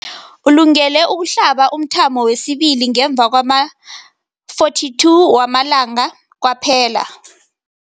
Ulungele ukuhlaba umthamo wesibili ngemva kwama-42 wamalanga kwaphela.